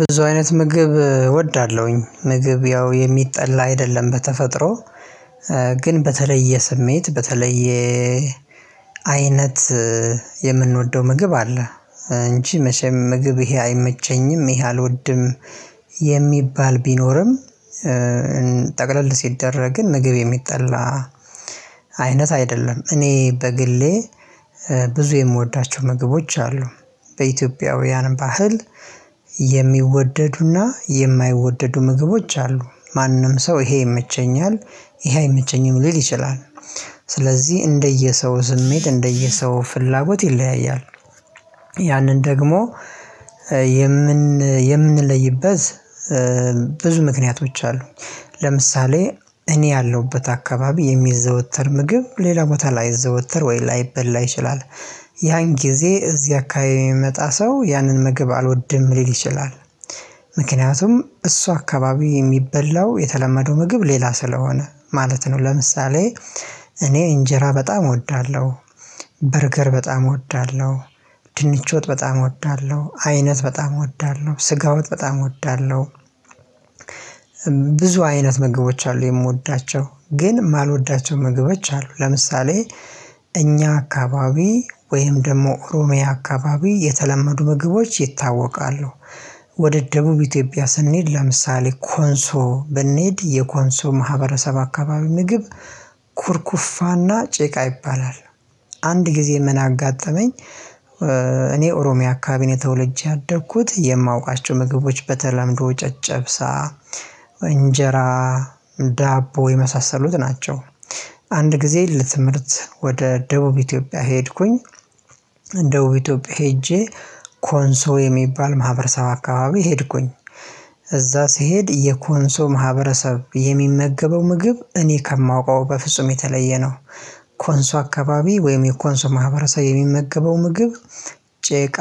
ብዙ አይነት ምግብ እወዳለሁኝ ምግብ ያው የሚጠላ አይደለም በተፈጥሮ በተለየ ስሜት በተለየ አይነት የምንወደው ምግብ አለ እንጂ መቼም ምግብ ይሄ አይመቸኝም ይሄ አልወድም። የሚባል ቢኖርም ጠቅለል ሲደረግ ምግብ የሚጠላ አይነት አይደለም። እኔ በግሌ ብዙ የምወዳቸው ምግቦች አሉ በኢትዮጵያውያን ባህል የሚወደዱና የማይወደዱ ምግቦች አሉ ማንም ሰው ይሄ ይመቸኛል ይሄ አይመቸኝም ሊል ይችላል። ስለዚህ እንደየሰው ስሜት እንደየሰው ፍላጎት ይለያያል። ያንን ደግሞ የምንለይበት ብዙ ምክንያቶች አሉ። ለምሳሌ እኔ ያለሁበት አካባቢ የሚዘወተር ምግብ ሌላ ቦታ ላይዘወተር ወይ ላይበላ ይችላል። ያን ጊዜ እዚህ አካባቢ የሚመጣ ሰው ያንን ምግብ አልወድም ሊል ይችላል። ምክንያቱም እሱ አካባቢ የሚበላው የተለመደው ምግብ ሌላ ስለሆነ ማለት ነው። ለምሳሌ እኔ እንጀራ በጣም እወዳለሁ። በርገር በጣም እወዳለሁ ድንቾ ወጥ በጣም እወዳለሁ አይነት በጣም እወዳለሁ ስጋ ወጥ በጣም እወዳለሁ። ብዙ አይነት ምግቦች አሉ የምወዳቸው ግን የማልወዳቸው ምግቦች አሉ። ለምሳሌ እኛ አካባቢ ወይም ደግሞ ኦሮሚያ አካባቢ የተለመዱ ምግቦች ይታወቃሉ። ወደ ደቡብ ኢትዮጵያ ስንሄድ ለምሳሌ ኮንሶ ብንሄድ የኮንሶ ማህበረሰብ አካባቢ ምግብ ኩርኩፋና ጭቃ ይባላል። አንድ ጊዜ ምን አጋጠመኝ። እኔ ኦሮሚያ አካባቢ ነው ተወለጄ ያደኩት የማውቃቸው ምግቦች በተለምዶ ጨጨብሳ እንጀራ ዳቦ የመሳሰሉት ናቸው። አንድ ጊዜ ለትምህርት ወደ ደቡብ ኢትዮጵያ ሄድኩኝ። ደቡብ ኢትዮጵያ ሄጄ ኮንሶ የሚባል ማህበረሰብ አካባቢ ሄድኩኝ። እዛ ስሄድ የኮንሶ ማህበረሰብ የሚመገበው ምግብ እኔ ከማውቀው በፍጹም የተለየ ነው። ኮንሶ አካባቢ ወይም የኮንሶ ማህበረሰብ የሚመገበው ምግብ ጭቃ